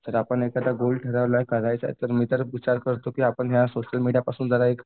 तरी आपण एखाद्या गोष्ट ठरवलं करायचं तर मी तर विचार करतो की आपण या सोशल मीडियापासून जरा एक